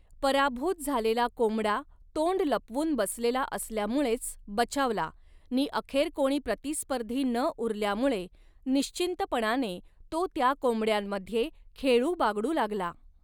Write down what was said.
पराभूत झालेला कोंबडा तोंड लपवनू बसलेला असल्यामुळेच बचावला नि अखेर कोणी प्रतिस्पर्धी न उरल्यामुळे निश्चिंतपणाने तो त्या कोंबडयांमध्ये खेळूबागडू लागला.